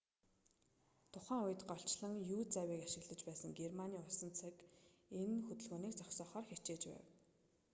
тухайн үед голчлон u-завийг ашиглаж байсан германы усан цэг энэ хөдөлгөөнийг зогсоохоор хичээж байв